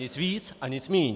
Nic víc a nic míň.